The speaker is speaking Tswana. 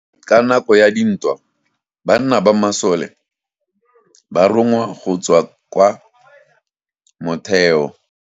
Ka nako ya dintwa banna ba masole ba rongwa go tswa kwa motheo.